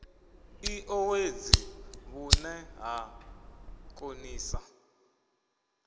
i owedzi vhune ha konisa